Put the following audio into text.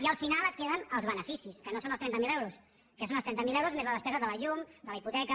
i al final et queden els beneficis que no són els trenta mil euros que són els trenta mil euros menys la despesa de la llum de la hipoteca